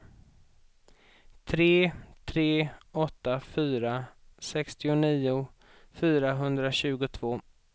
tre tre åtta fyra sextionio fyrahundratjugotvå